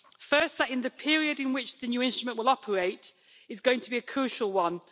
Firstly, the period in which the new instrument will operate is going to be a crucial one.